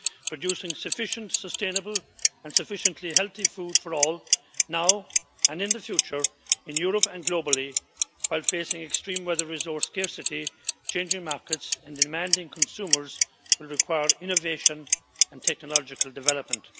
Producing sufficient sustainable and sufficiently healthy food for all, now and in the future, in Europe and globally, while facing extreme weather, resource scarcity, changing markets and demanding consumers will require innovation and technological development.